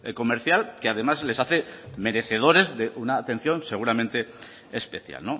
comercial que además les hace merecedores de una atención seguramente especial